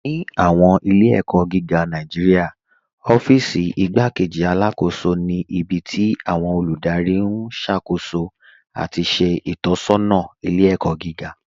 Ní awọn ilẹ̀-ẹ̀kọ giga Nàìjíríà, ọ̀fíìsí Ìgbàkéjì Alákóṣọ ni ibi tí awọn olúdárí n ṣákóṣó ati ṣe itọsọna ilẹ̀-ẹ̀kọ giga.